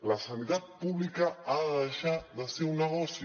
la sanitat pública ha de deixar de ser un negoci